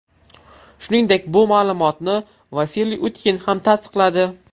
Shuningdek, bu ma’lumotni Vasiliy Utkin ham tasdiqladi .